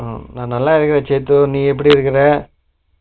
நா நல்லாவே சிட்டு நீ எப்பிடி இருக்க ?